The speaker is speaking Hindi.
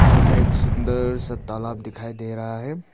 यह हमें एक सुंदर सा तालाब दिखाई दे रहा है।